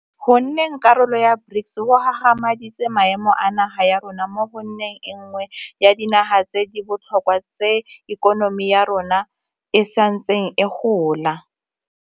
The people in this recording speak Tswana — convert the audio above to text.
Go nneng karolo ya BRICS go gagamaditse maemo a naga ya rona mo go nneng e nngwe ya dinaga tse di botlhokwa tse ikonomi ya yona e santseng e gola.